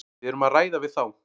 Við erum að ræða við þá.